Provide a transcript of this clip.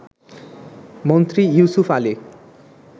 Mantri Yusuf Ali